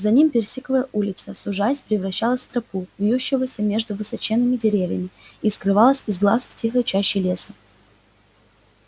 за ним персиковая улица сужаясь превращалась в тропу вьющуюся между высоченными деревьями и скрывалась из глаз в тихой чаще леса